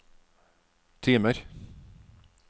timer